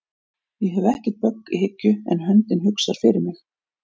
Ég hef ekkert bögg í hyggju en höndin hugsar fyrir mig